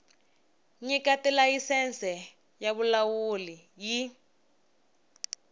nyika tilayisense ya vulawuli yi